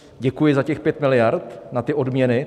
Děkuji za těch 5 miliard na ty odměny.